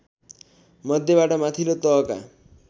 मध्येबाट माथिल्लो तहका